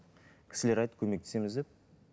кісілер айтты көмектесеміз деп